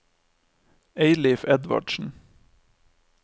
Eilif Edvardsen